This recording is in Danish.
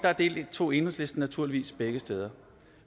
deltog enhedslisten naturligvis begge steder